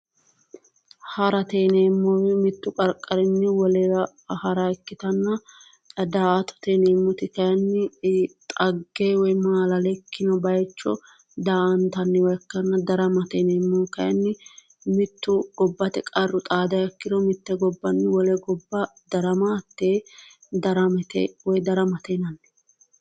Harate yineemohu mittu qariqarinni wolewa hara ikkitanna daa'atte yineemoti kayinni xagge woyi maalale ikkino bayicho daa"anitanniha ikkana daramate yineemohu kayinni mittu gobbate qarru xaadiha ikkiro mitte gobbanni wole gobba darama hatee daramate yinnanni